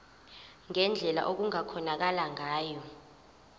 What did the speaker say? ngendlela okungakhonakala ngayo